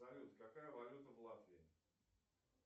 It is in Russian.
салют какая валюта в латвии